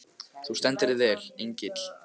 Þú stendur þig vel, Engill!